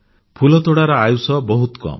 ଫୁଲତୋଡ଼ାର ଆୟୁଷ ବହୁତ କମ୍